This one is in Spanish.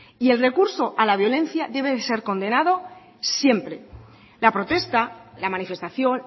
y el recurso a la violencia debe de ser condenado siempre la protesta la manifestación